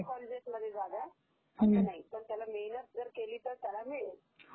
is not Clear